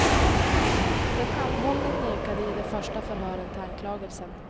Den anhållne nekade i de första förhören till anklagelsen.